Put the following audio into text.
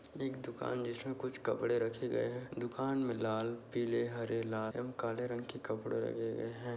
एक दुकान जिसमें कुछ कपड़े रखे गए हैं। दुकान में लाल पीले हरे लाल एवं काले रंग के कपड़े रखे गए हैं।